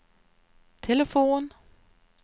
telefon